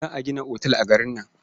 Za a gina otal a garin nan.